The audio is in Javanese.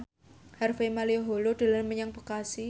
Harvey Malaiholo dolan menyang Bekasi